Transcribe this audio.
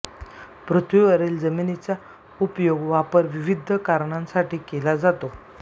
पृथ्वीवरील जमिनीचा उपयोग वापर विविध कारणासाठी केला जातो